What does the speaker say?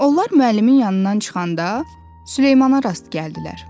Onlar müəllimin yanından çıxanda Süleymana rast gəldilər.